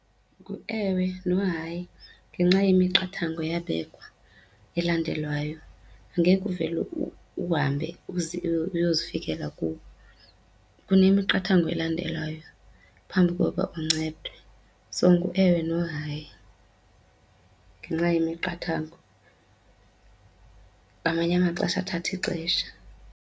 Nguewe nohayi, ngenxa yemiqathango eyabekwa elandelwayo. Angeke uvele uhambe uyozifikela kubo, kunemiqathango elandelwayo phambi kokuba uncedwe. So nguewe nohayi ngenxa yemiqathango. Ngamanye amaxesha athatha ixesha.